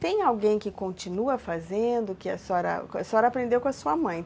Tem alguém que continua fazendo, que a senhora, a senhora aprendeu com a sua mãe.